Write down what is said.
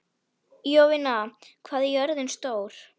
Jovina, hvað er jörðin stór?